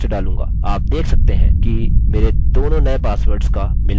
आप देख सकते हैं कि मेरे दोनों नये पासवर्ड्स का मिलान नहीं हो रहा है